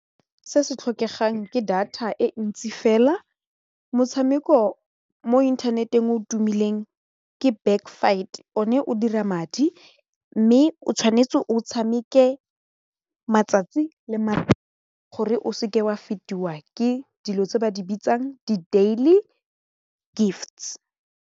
Se se tlhokegang ke data e ntsi fela motshameko mo internet-eng o tumileng ke back fight one o dira madi mme o tshwanetse o tshameke matsatsi le gore o seke wa fetiwa ke dilo tse ba di bitsang di-daily gifts.